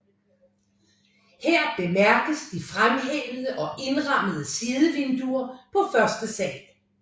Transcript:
Her bemærkes de fremhævede og indrammede sidevinduer på første sal